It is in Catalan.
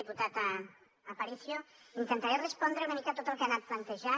diputat aparicio intentaré respondre una mica tot el que ha anat plantejant